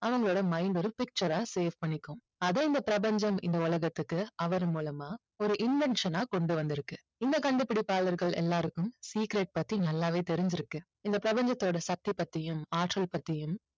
அவங்களோட mind ஒரு picture ஆ save பண்ணிக்கும் அதை இந்த பிரபஞ்சம் இந்த உலகத்துக்கு அவர் மூலமா ஒரு invention ஆ கொண்டு வந்திருக்கு இந்த கண்டுபிடிப்பாளர்கள் எல்லாருக்கும் secret பத்தி நல்லாவே தெரிஞ்சிருக்கு. இந்தப் பிரபஞ்சத்தோட சக்தி பத்தியும் ஆற்றல் பத்தியும்